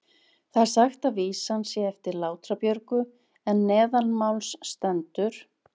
Þar er sagt að vísan sé eftir Látra-Björgu en neðanmáls stendur: